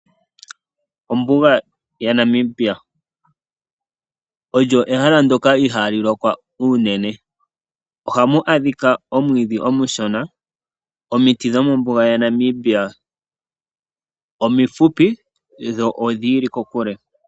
Ombuga ya Namibia, olyo ehala lyoka ihaali mono omvula ya gwana, ohamu adhika omwiidhi omushona, omiti dho mombuga ya Namibia omifupi dho odhi ili kokule.